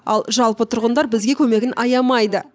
ал жалпы тұрғындар бізге көмегін аямайды